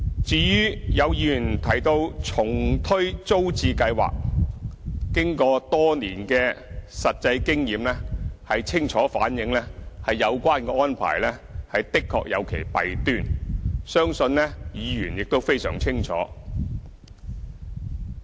至於有議員提到重推租置計劃，經過多年的實際經驗，清楚反映有關安排的確有其弊端，相信議員亦非常清楚。